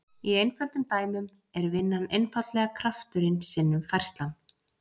Í einföldum dæmum er vinnan einfaldlega krafturinn sinnum færslan.